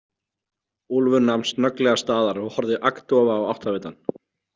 Úlfur nam snögglega staðar og horfði agndofa á áttavitann.